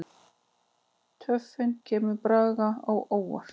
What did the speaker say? Töfin kemur Braga á óvart.